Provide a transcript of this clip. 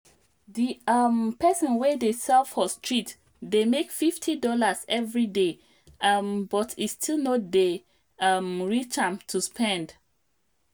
di um person wey dey sell for street dey make fifty dollarseveryday um but e still no dey um reach am to spend